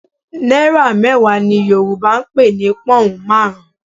Náírà mẹ́wàá ni Yorùbá ń pè ní pọ́hùn marun-un